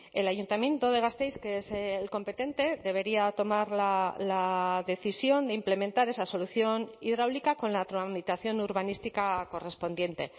el ayuntamiento de gasteiz que es el competente debería tomar la decisión de implementar esa solución hidráulica con la tramitación urbanística correspondiente